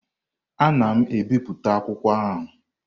Ana m ebipụta akwụkwọ ahụ.